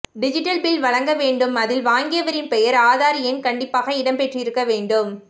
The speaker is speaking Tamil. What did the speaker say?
டிஜிட்டல் பில் வழங்க வேண்டும் அதில் வாங்கியவரின் பெயர் ஆதார் எண் கண்டிப்பாக இடம்பெற்றிருக்க வேண்டும்